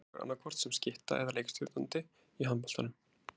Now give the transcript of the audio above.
Sverrir leikur annaðhvort sem skytta eða leikstjórnandi í handboltanum.